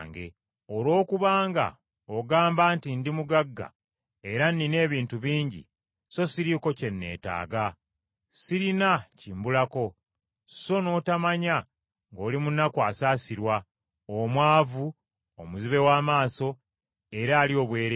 Olwokubanga ogamba nti, ‘Ndi mugagga era nnina ebintu bingi, sso siriiko kye neetaaga. Sirina kimbulako!’ Sso n’otomanya ng’oli munaku asaasirwa, omwavu, omuzibe w’amaaso era ali obwereere.